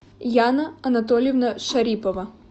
яна анатольевна шарипова